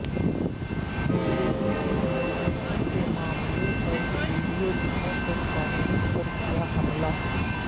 B J پی نے emergency کے معاملہ پر ویڈیو دکھا کر کانگریس پر کیا حملہ